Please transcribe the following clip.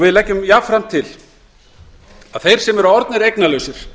við leggjum jafnframt til að þeir sem eru orðnir eignalausir